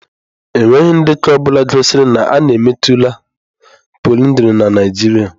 Enweghị ndekọ ọ bụla gosiri na a na-emetụla pọlyndrị na Nigeria.